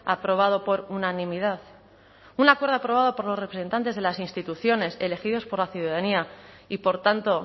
aprobado por unanimidad un acuerdo aprobado por los representantes de las instituciones elegidos por la ciudadanía y por tanto